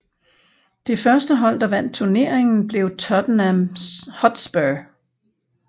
Det første hold der vandt turneringen blev Tottenham Hotspur